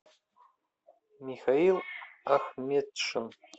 михаил ахметшин